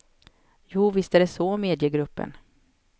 Jo, visst är det så, medger gruppen.